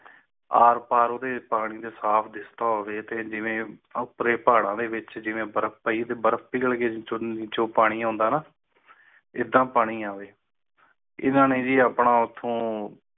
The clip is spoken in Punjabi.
ਆਰ ਪਾਰ ਉਰਾਰ ਪਾਰ ਦ ਖਾਬ ਦੇ ਤੌਰ ਤੇ ਜਿਵੇਂ ਭਰੇ ਭੜੋਲੇ ਵਿਚ ਜਿਵੇਂ ਬਰਫ ਹੀ ਬਰਫ ਪਿਘਲ ਕੇ ਚੋਰੀ ਚੋਰ ਪਾਣੀ ਆਉਂਦਾ ਹੈ ਇਰਾਨ ਨੇ ਵੀ ਆਪਣਾ ਉਠਾਉਣ